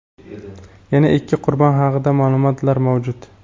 yana ikki qurbon haqida ma’lumotlar mavjud.